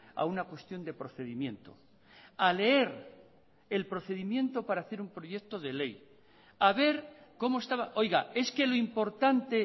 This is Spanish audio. a una cuestión de procedimiento a leer el procedimiento para hacer un proyecto de ley a ver cómo estaba oiga es que lo importante